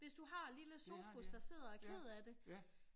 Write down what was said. Hvis du har lille Sofus der sidder og er ked af det